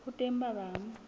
ho teng ba bang ba